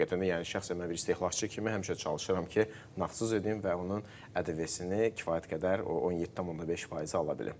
Həqiqətən də, yəni şəxsən mən bir istehlakçı kimi həmişə çalışıram ki, nağdsız edim və onun ƏDV-sini kifayət qədər o 17.5%-i ala bilim.